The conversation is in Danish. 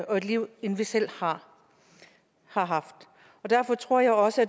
liv end vi selv har haft og derfor tror jeg også